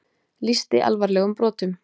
Lýsti alvarlegum brotum